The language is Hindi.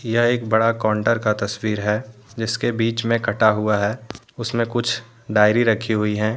यह एक बड़ा कोंटर का तस्वीर है जिसके बीच में कटा हुआ है उसमें कुछ डायरी रखी हुई है।